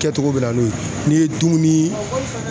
Kɛtogo bɛ na n'o ye, n'i ye dumuni